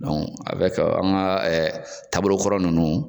an ka ɛɛ taabolo kɔrɔ nunnu